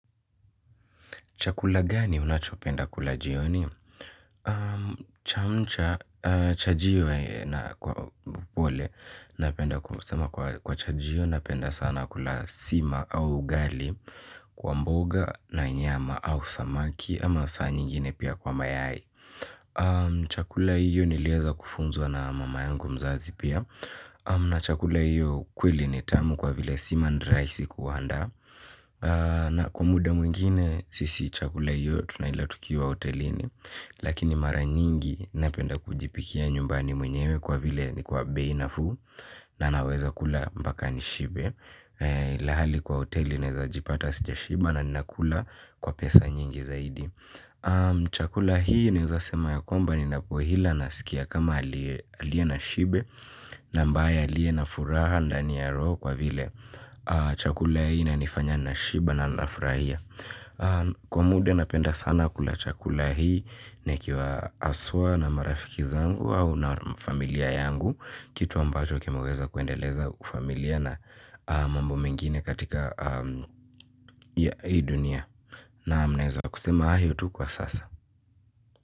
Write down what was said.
Chakula gani unachopenda kula jioni? Chajio napenda sana kula sima au ugali kwa mboga na nyama au samaki ama saa nyingine pia kwa mayai. Chakula hiyo niliweza kufunzwa na mama yangu mzazi pia. Na chakula hiyo kweli ni tamu kwa vile sima ni rahisi kuanda. Na kwa muda mwingine sisi chakula hio tunaila tukiwa hotelini lakini mara nyingi napenda kujipikia nyumbani kwa vile ni bei nafuu. Na naweza kula mpaka nishibe ilhali kwa hoteli naweza jipata sijashiba na ninakula kwa pesa nyingi zaidi. Chakula hii naweza sema ya kwamba ninapoila nasikia kama aliye na shibe. Na ambaye aliye na furaha ndani ya roho kwa vile chakula hii inanifanya nashiba na nafurahia. Kwa muda napenda sana kula chakula hii. Nikiwa haswa na marafiki zangu au na familia yangu. Kitu ambacho kimeweza kuendeleza ufamilia na mambo mengine katika hii dunia naam naweza kusema hayo tu kwa sasa.